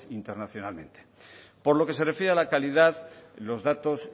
internacionalmente por lo que se refiere a la calidad los datos